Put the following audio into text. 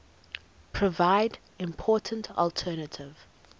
provide important alternative